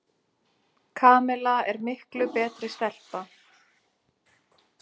Kamilla er miklu betri stelpa.